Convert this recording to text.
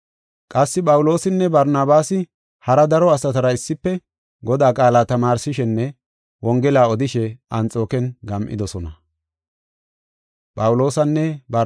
Qassi Phawuloosinne Barnabaasi hara daro asatara issife Godaa qaala tamaarsishenne wongelaa odishe Anxooken gam7idosona.